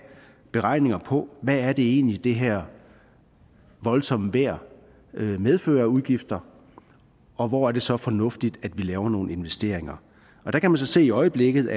beregninger på hvad det egentlig er det her voldsomme vejr medfører af udgifter og hvor er det så fornuftigt vi laver nogle investeringer der kan man så i øjeblikket